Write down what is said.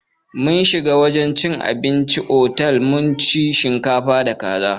Mun shiga wurin cin abinci a cikin otal mun ci shinkafa da kaza.